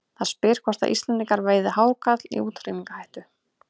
Það spyr hvort að Íslendingar veiði hákarla í útrýmingarhættu.